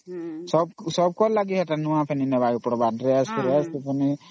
ସବୁ ଙ୍କର ଲାଗି dress କରିବା ନ